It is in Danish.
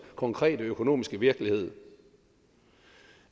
konkrete økonomiske virkelighed